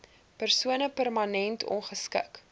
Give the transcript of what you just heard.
persoon permanent ongeskik